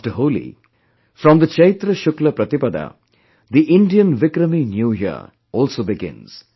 After Holi, from the Chaitra Shukla Pratipada, the Indian Vikrami New year also begins